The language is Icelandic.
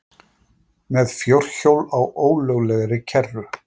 Með fjórhjól á ólöglegri kerru